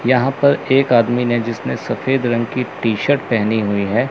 यहां पर एक आदमी ने जिसने सफेद रंग की टी_शर्ट पहनी हुई है।